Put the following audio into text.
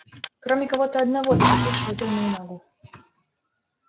кроме кого-то одного заплатившего тёмному магу